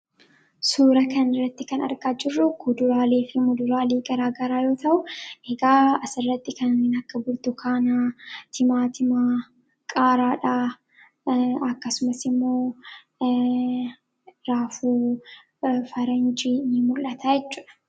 Suuraa kanaa gadii irraa kan mul'atu suuraa kuduraalee fi fuduraalee yammuu ta'u isaanis Burtukaana, Qaaraa, Timaatimaa akkasumas Raafuumaraa dha.